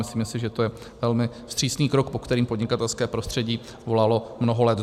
Myslíme si, že to je velmi vstřícný krok, po kterém podnikatelské prostředí volalo mnoho let.